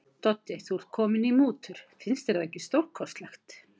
Doddi, þú ert kominn í mútur, finnst þér það ekki stórkostlegt.